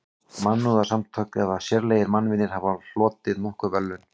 Mannúðarsamtök eða sérlegir mannvinir hafa hlotið nokkur verðlaun.